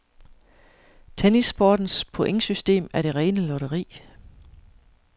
Tennissportens pointsystem er det rene lotteri.